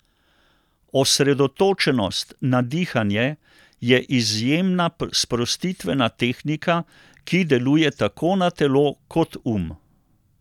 Osredotočenost na dihanje je izjemna sprostitvena tehnika, ki deluje tako na telo kot um.